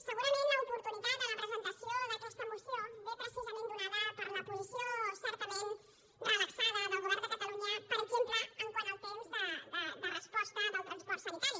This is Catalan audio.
segurament l’oportunitat en la presentació d’aquesta moció ve precisament donada per la posició certament relaxada del govern de catalunya per exemple quant al temps de resposta del transport sanitari